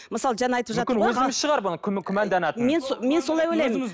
мысалы жаңа айтывжатыр күмәнданатын мен солай ойлаймын